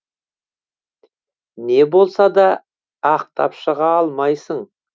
не болса да ақтап шыға алмайсың